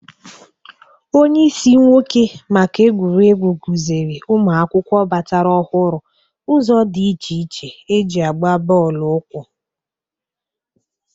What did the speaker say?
Onyeisi nwoke maka egwuregwu kụzịrị ụmụ akwụkwọ batara ọhụrụ ụzọ dị iche iche e ji agba bọọlụ ụkwụ